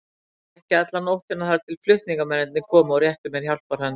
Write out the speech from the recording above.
Þar hékk ég alla nóttina þar til flutningamennirnir komu og réttu mér hjálparhönd.